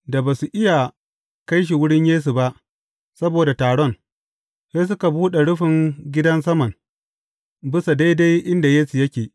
Da ba su iya kai shi wurin Yesu ba, saboda taron, sai suka buɗe rufin gidan saman, bisa daidai inda Yesu yake.